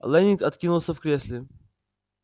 лэннинг откинулся в кресле